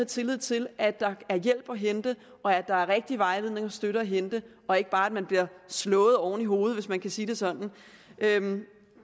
tillid til at der er hjælp at hente og at der er rigtig vejledning og støtte at hente og ikke bare bliver slået oven i hovedet hvis man kan sige det sådan